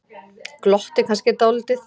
Glotti kannski dálítið.